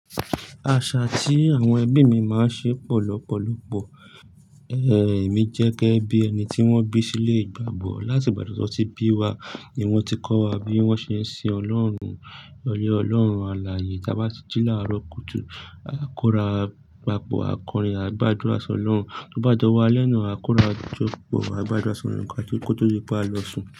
Àṣà tí àwọn ẹbí mi máa ń ṣe pọ̀ lọ́pọ̀lọpọ̀. Ẹ̀mi jẹ́ gẹ́gẹ́ bí ẹni tí wọ́n bí sílé ìgbàgbọ́. Láti ìgbà tí wọ́n ti bí wa, ni wọ́n ti kọ́ wa bí wọ́n ṣe ń sin Ọlọ́run, Ọlọ́run àlàyé. Tí a bá ti jí láàárọ̀ kùtù, a kó ra papọ̀ a kọrin, a gbàdúrà ṣọ́lọ́run. Tó bá dọ̀wó alẹ́ náà, a kó ra jọ̀pọ̀, a gbàdúrà sọ́lọ́run ká tó, kó tó di pa lọ sùn.